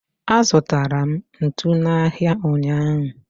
azụtara m ntu n'ahịa ụnyaahụ.